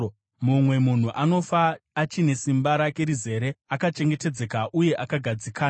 Mumwe munhu anofa achine simba rake rizere, akachengetedzeka uye akagadzikana,